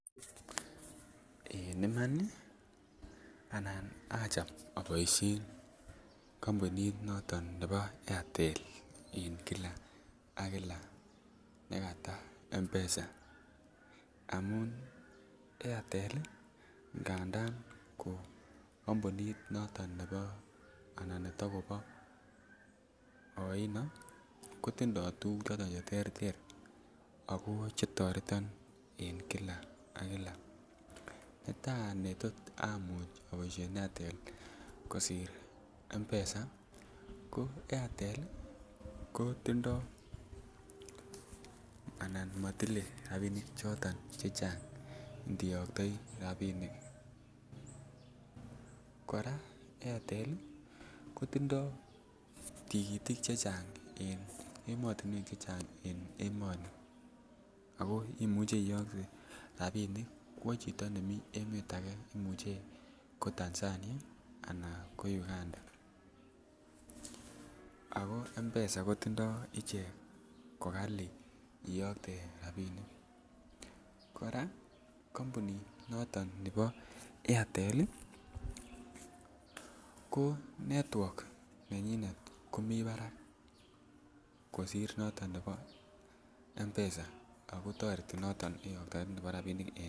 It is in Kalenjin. En Iman achome aboisien kampunit noton nebo airtel en kila ak kila nekata mpesa angamun airtel ngandan ko kampunit noton netakopo oino ko tindoi tuguk choton Che terter ako Che toreton en kila ak kila netai ne tot amuch aboisien airtel kosiir mpesa ko airtel ko tindo anan motile rabinik chechang olon iyoktoi rabinik kora airtel ko tindoi tikitik chechang en emotinwek Che che chang en emoni ako imuche iyokte rabinik kwo chito nemiten emet ake Imuch ko Tanzania anan ko Uganda ko mpesa ko kali iyokte rabisiek kora kampunit noton nebo airtel ko network nenyinet komi barak kosiir noton nebo mpesa